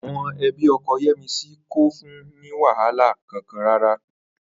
Àwo̩n e̩bí o̩ko̩ Yé̩misí kò fun ní wàhálà kankan rárá